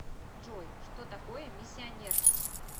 джой что такое миссионерство